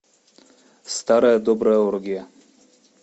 старая добрая оргия